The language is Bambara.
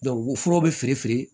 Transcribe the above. wo furaw be feere firi